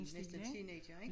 Næsten teenagere ik